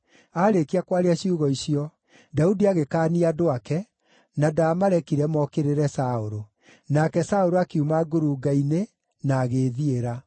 Aarĩkia kwaria ciugo icio, Daudi agĩkaania andũ ake, na ndaamarekire mookĩrĩre Saũlũ. Nake Saũlũ akiuma ngurunga-inĩ, na agĩĩthiĩra.